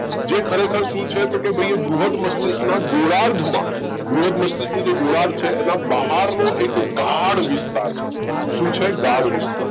જે ખરેખર શું છે તો કે ભાઈ બૃહદ મસ્તિષ્કના ગોળાર્ધમાં બૃહદ મસ્તિષ્કનું જે ગોળાર્ધ છે એના બહારનો એક ગાઢ વિસ્તાર છે શું છે ગાઢ વિસ્તાર